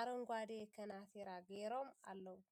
ኣሮንጋዴ ከናቲራ ገይሮም ኣለዉ ።